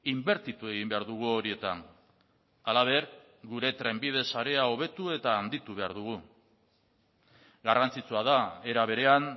inbertitu egin behar dugu horietan halaber gure trenbide sarea hobetu eta handitu behar dugu garrantzitsua da era berean